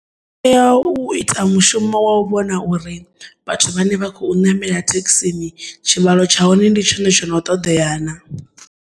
Tea u ita mushumo wa u vhona uri, vhathu vhane vha khou namela thekhisini tshivhalo tsha hone ndi tshone tshono ṱoḓeya na.